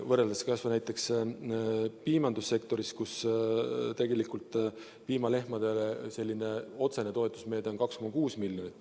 Võrreldes kas või näiteks piimandussektoriga, kus piimalehmade otsene toetusmeede on 2,6 miljonit.